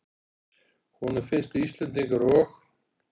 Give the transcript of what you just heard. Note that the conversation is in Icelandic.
Honum finnst að Íslendingar og